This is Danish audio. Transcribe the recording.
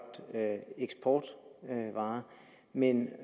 eksportvarer men